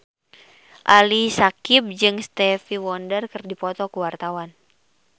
Ali Syakieb jeung Stevie Wonder keur dipoto ku wartawan